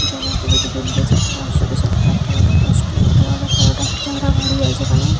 এখানে একটি দুটো তিনটে চারটে পাঁচটা ছটা সাতটা আটটা নটা দশটা এগারোটা বারোটা তেরোটা তেরোটা গাড়ি আছে এখানে।